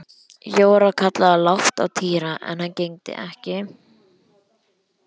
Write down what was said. Jóra kallaði lágt á Týra en hann gegndi ekki.